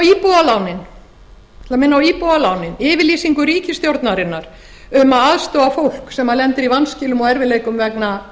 ætla að minna á íbúðalánin yfirlýsingu ríkisstjórnarinnar um að aðstoða fólk sem lendir í vanskilum og erfiðleikum vegna